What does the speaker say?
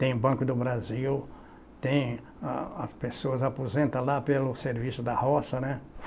Tem o Banco do Brasil, tem a as pessoas aposentam lá pelo Serviço da Roça, né?